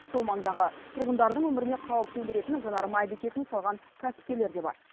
сол маңдағы тұрғындардың өміріне қауіп төндіретін жанармай бекетін салған кәсіпкерлер де бар